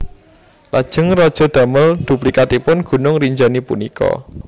Lajeng raja damel duplikatipun Gunung Rinjani punika